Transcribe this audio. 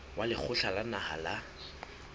wa lekgotla la naha la